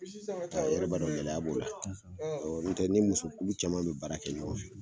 I yɛrɛ b'a dɔn gɛlɛya b'o la, n'i tɛ ni muso kulu caman mi baara kɛ ɲɔgɔn fɛ.